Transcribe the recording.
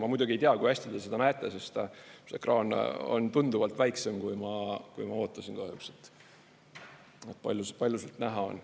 Ma muidugi ei tea, kui hästi te seda näete, sest see ekraan on tunduvalt väiksem kui ma ootasin, kahjuks, palju sealt näha on.